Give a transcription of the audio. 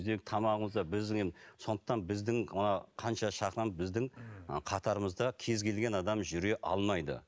сондықтан біздің ы қанша біздің ы қатарымызда кез келген адам жүре алмайды